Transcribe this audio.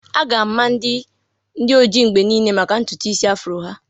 A ga-ama ndị oji mgbe niile maka ntutu isi afrọ ha.